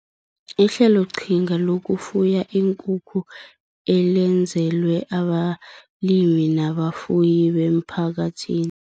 Ihleloqhinga Lokufuya Iinkukhu Elenzelwe Abalimi Nabafuyi Bemphakathi